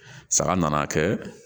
Sanga na kɛ